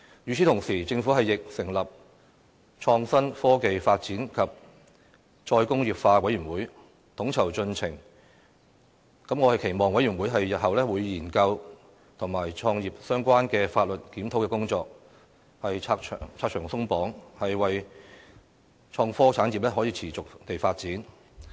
與此同時，政府亦成立創新、科技發展與"再工業化"委員會，統籌進程，我期望委員會日後會研究與產業相關的法律檢討工作，拆牆鬆綁，令創科產業可以持續地發展。